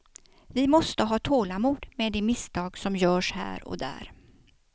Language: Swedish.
Vi måste ha tålamod med de misstag, som görs här och där.